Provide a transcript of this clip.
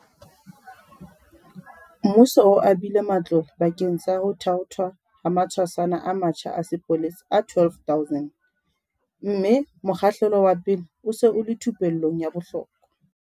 Mmuso o abile matlole bakeng sa ho thaothwa ha matshwasana a matjha a sepolesa a 12 000, mme mokgahlelo wa pele o se o le thupellong ya bohlokwa.